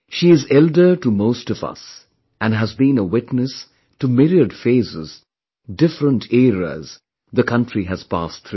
She is elder to most of us and has been a witness to myriad phases, different eras the country has passed through